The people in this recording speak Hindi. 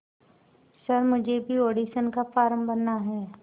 सर मुझे भी ऑडिशन का फॉर्म भरना है